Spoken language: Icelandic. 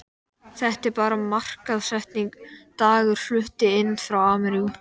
Þetta er bara markaðssetning, dagar fluttir inn frá ameríku.